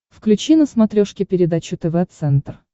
включи на смотрешке передачу тв центр